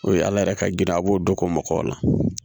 O ye ala yɛrɛ ka girin a b'o dɔ k'o makɔ la